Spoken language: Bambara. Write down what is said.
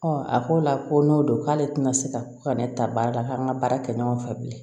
a ko la ko n'o don k'ale tɛna se ka ne ta baara la k'an ka baara kɛ ɲɔgɔn fɛ bilen